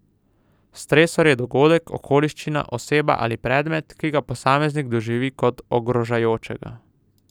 Stresor je dogodek, okoliščina, oseba ali predmet, ki ga posameznik doživi kot ogrožajočega.